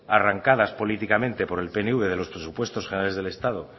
arrancadas políticamente por el pnv de los presupuestos generales del estado